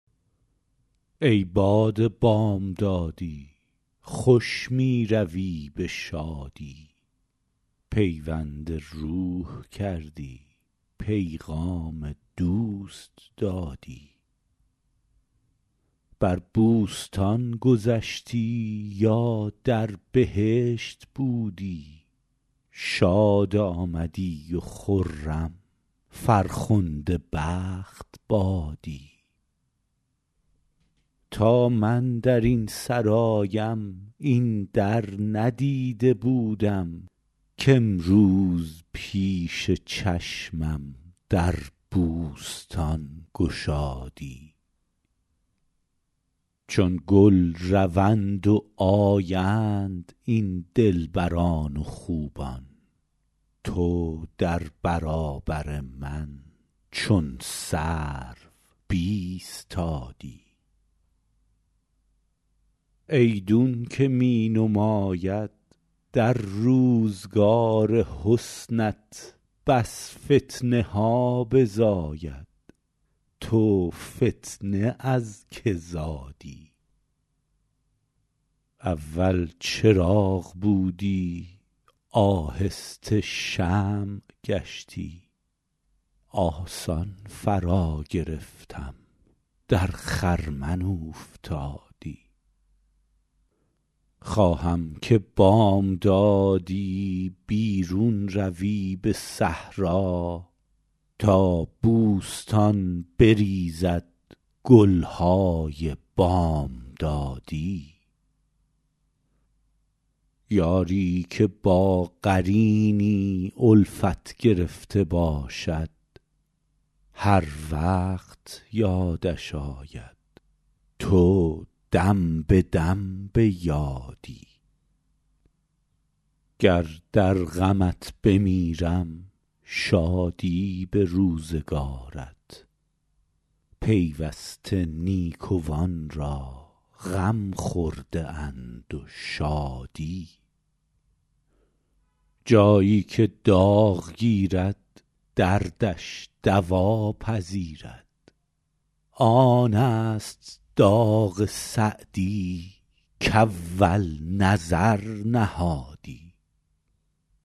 ای باد بامدادی خوش می روی به شادی پیوند روح کردی پیغام دوست دادی بر بوستان گذشتی یا در بهشت بودی شاد آمدی و خرم فرخنده بخت بادی تا من در این سرایم این در ندیده بودم کامروز پیش چشمم در بوستان گشادی چون گل روند و آیند این دلبران و خوبان تو در برابر من چون سرو بایستادی ایدون که می نماید در روزگار حسنت بس فتنه ها بزاید تو فتنه از که زادی اول چراغ بودی آهسته شمع گشتی آسان فراگرفتم در خرمن اوفتادی خواهم که بامدادی بیرون روی به صحرا تا بوستان بریزد گل های بامدادی یاری که با قرینی الفت گرفته باشد هر وقت یادش آید تو دم به دم به یادی گر در غمت بمیرم شادی به روزگارت پیوسته نیکوان را غم خورده اند و شادی جایی که داغ گیرد دردش دوا پذیرد آن است داغ سعدی کاول نظر نهادی